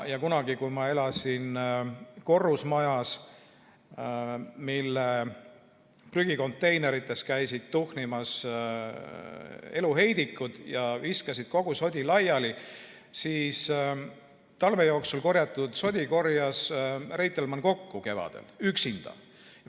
Kunagi, kui ma elasin korrusmajas, mille prügikonteinerites käisid tuhnimas eluheidikud, kes loopisid kogu sodi laiali, siis talve jooksul kogunenud sodi korjas Reitelmann kevadel üksinda kokku.